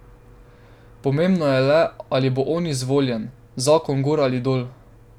Pomembno je le, ali bo on izvoljen, zakon gor ali dol.